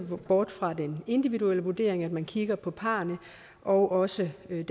bort fra den individuelle vurdering altså at man kigger på parrene og også den